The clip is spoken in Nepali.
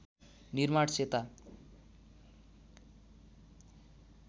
निर्माण सेता